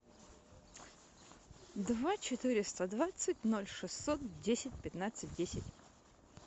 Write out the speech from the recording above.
два четыреста двадцать ноль шестьсот десять пятнадцать десять